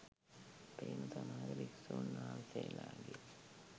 අපේම සමහර භික්ෂුන් වහන්සේලාගේ